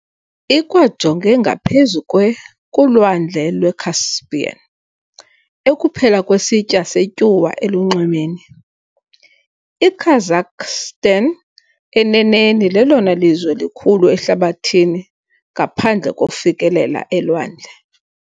Ikwajonge ngaphezu kwe kuLwandle lweCaspian, ekuphela kwesitya setyuwa elunxwemeni- IKazakhstan, eneneni, lelona lizwe likhulu ehlabathini ngaphandle kofikelela elwandle .